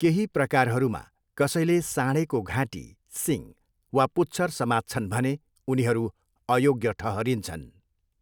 केही प्रकारहरूमा कसैले साँढेको घाँटी, सिङ वा पुच्छर समात्छन् भने उनीहरू अयोग्य ठहरिन्छन्।